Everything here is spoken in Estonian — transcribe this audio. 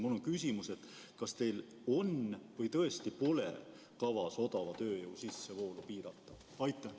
Mul on küsimus: kas teil on või tõesti pole kavas odava tööjõu sissevoolu piirata?